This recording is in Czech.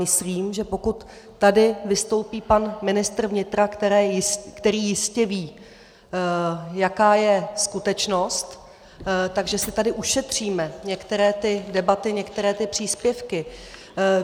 Myslím, že pokud tady vystoupí pan ministr vnitra, který jistě ví, jaká je skutečnost, že si tady ušetříme některé ty debaty, některé ty příspěvky.